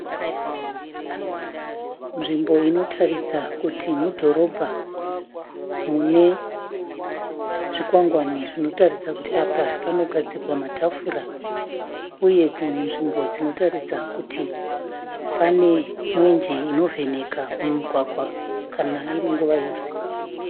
Nzvimbo Inotaridza kuti mudhorobha. Mune zvikwangwani zvinotaridza kuti apa panogadzigwa matafura. Uye dzimwe nzvimbo dzinotaridza kuti pane mwenje inovheneka mumugwagwa kana iri nguva yeusiku.